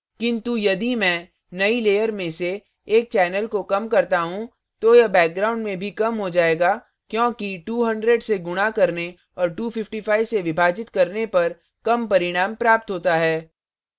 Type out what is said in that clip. किन्तु यदि मैं नई layer में से एक channel को कम करता हूँ तो यह background में भी कम हो जाएगा क्योंकि 200 से गुणा करने और 255 से विभाजित करने पर कम परिणाम प्राप्त होता है